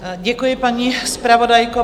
Děkuji, paní zpravodajko.